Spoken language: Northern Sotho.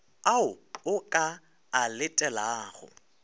ao o ka a letelago